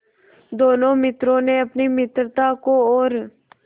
दोनों मित्रों ने अपनी मित्रता को और